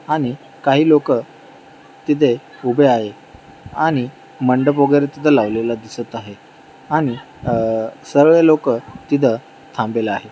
आणि काही लोकं तिथे उभे आहे आणि मंडप वगैरे तिथ लावलेला दिसत आहे आणि अह सर्वे लोकं तिथ थांबलेला आहे.